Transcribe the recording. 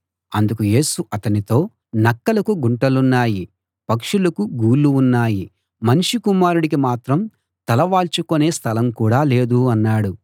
అందుకు యేసు అతనితో నక్కలకు గుంటలున్నాయి పక్షులకు గూళ్ళు ఉన్నాయి మనుష్య కుమారుడికి మాత్రం తల వాల్చుకునే స్థలం కూడా లేదు అన్నాడు